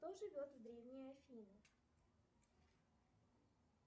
кто живет в древней афине